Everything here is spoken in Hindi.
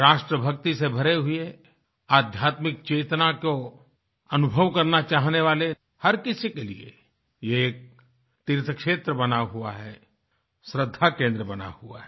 राष्ट्रभक्ति से भरे हुए आध्यात्मिक चेतना को अनुभव करना चाहने वाले हर किसी के लिए ये एक तीर्थक्षेत्र बना हुआ है श्रद्धाकेंद्र बना हुआ है